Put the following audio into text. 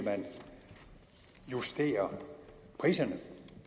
justere priserne